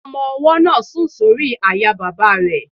Ọmọ-ọwọ́ náà sùn sórí àyà bàbá rẹ̀